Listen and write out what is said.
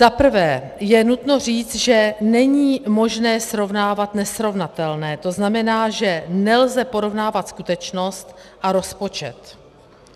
Zaprvé je nutno říct, že není možné srovnávat nesrovnatelné, to znamená, že nelze porovnávat skutečnost a rozpočet.